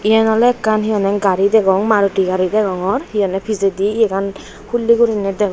eyen oley ekkan hi honney gari degong maruti gari degongor hi honney pijedi iyegan hulley guri degong.